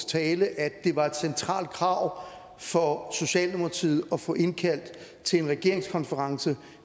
tale at det var et centralt krav for socialdemokratiet at få indkaldt til en regeringskonference